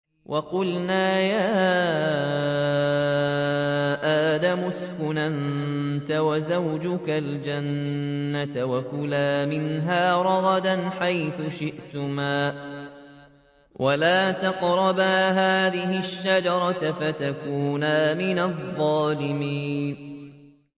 وَقُلْنَا يَا آدَمُ اسْكُنْ أَنتَ وَزَوْجُكَ الْجَنَّةَ وَكُلَا مِنْهَا رَغَدًا حَيْثُ شِئْتُمَا وَلَا تَقْرَبَا هَٰذِهِ الشَّجَرَةَ فَتَكُونَا مِنَ الظَّالِمِينَ